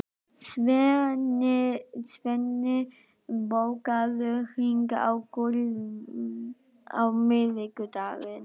Svenni, bókaðu hring í golf á miðvikudaginn.